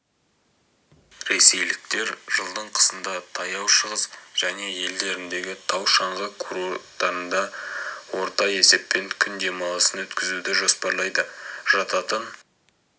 ресейліктер жылдың қысында таяу шығыс және елдеріндегі тау-шаңғы курорттарында орта есеппен күн демалысын өткізуді жоспарлайды жататын